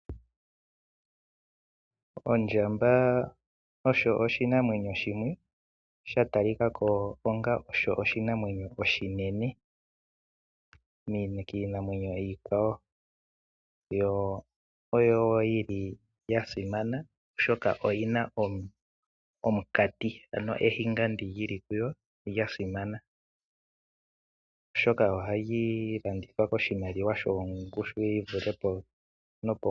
Ondjamba osho oshinamwenyo shimwe, shoka sha talika ko onga osho oshinamwenyo oshinene kiinamwenyo iikwawo. Oyo wo ya simana, oshoka oyi na omayego ngoka haga landithwa koshimaliwa shi na ongushu yi li pombanda.